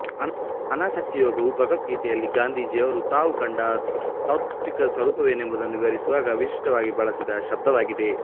ಅನಾಸಕ್ತಿಯೋಗವು ಭಗವದ್ಗೀತೆಯಲ್ಲಿ ಗಾಂಧೀಜಿಯವರು ತಾವು ಕಂಡ ತಾತ್ತ್ವಿಕ ಸ್ವರೂಪವೇನೆಂಬುದನ್ನು ವಿವರಿಸುವಾಗ ವಿಶಿಷ್ಟವಾಗಿ ಬಳಸಿದ ಶಬ್ದವಾಗಿದೆ